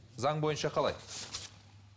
заң бойынша қалай